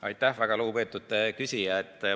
Aitäh, väga lugupeetud küsija!